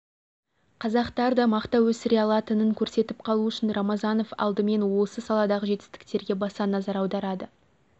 қазақтар да мақта өсіре алатынын көрсетіп қалу үшін рамазанов алымен осы саладағы жетістіктерге баса назар аударады